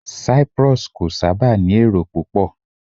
Cyprus kò sábà ní èrò púpọ̀